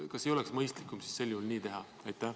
Kas ei oleks mõistlikum nii teha?